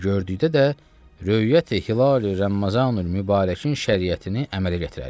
Və gördükdə də Röyəti Hilali Ramazanul Mübarəkin şəriyətini əmələ gətirərik.